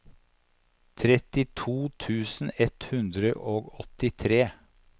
trettito tusen ett hundre og åttitre